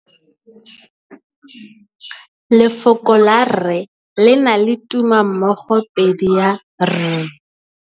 Lefoko la rre le na le tumammogôpedi ya, r.